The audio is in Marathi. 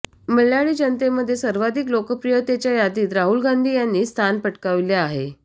मल्याळी जनतेमध्ये सर्वाधिक लोकप्रियतेच्या यादीत राहुल गांधी यांनी स्थान पटकाविले आहे